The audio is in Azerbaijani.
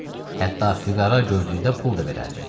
Hətta füqara gördükdə pul da verərdi.